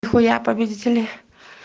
нихуя победители